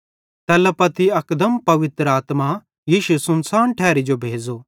तैल्ला पत्ती अकदम पवित्र आत्मा यीशु सुनसान ठैरी जो भेज़ो